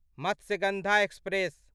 Matsyagandha express